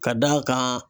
Ka d'a kan